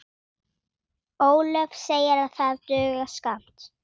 Ólöf segir það duga skammt.